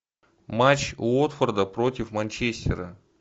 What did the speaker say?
матч уотфорда против манчестера